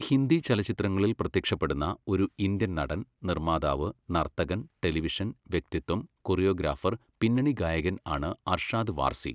ഹിന്ദി ചലച്ചിത്രങ്ങളിൽ പ്രത്യക്ഷപ്പെടുന്ന ഒരു ഇന്ത്യൻ നടൻ, നിർമ്മാതാവ്, നർത്തകൻ, ടെലിവിഷൻ വ്യക്തിത്വം, കൊറിയോഗ്രാഫർ, പിന്നണി ഗായകൻ ആണ് അർഷാദ് വാർസി.